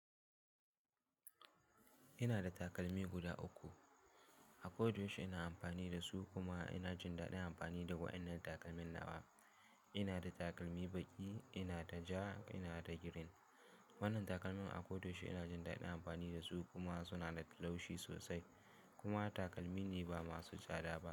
Ina da takalmi guda uku. A koɗo yashi ina amfani da su kuma ina jin daɗin amfani da waɗannan takalman nawa. Ina da takalmi baƙi, ina da ja, ina da green. Waɗannan takalma a koɗo yashi ina jin daɗin amfani da su kuma suna da laushi sosai kuma takalmi ne ba masu tsada ba.